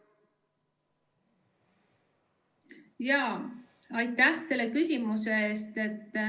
Aitäh selle küsimuse eest!